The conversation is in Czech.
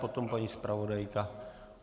Potom paní zpravodajka.